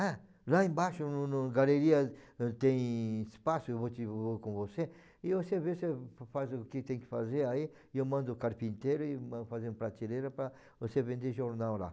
Ah, lá embaixo no no galeria tem espaço, eu vou te eu vou com você, e você vê, você faz o que tem que fazer aí, e eu mando o carpinteiro e fazer uma prateleira para você vender jornal lá.